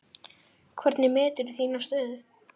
Hvernig meturðu þína stöðu?